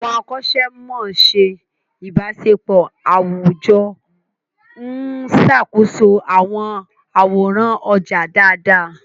Àwọn akọ́ṣẹ́mọṣẹ́ ìbáṣepọ̀ àwùjọ ń ṣàkóso àwọn àwòrán ọjà dáadáa.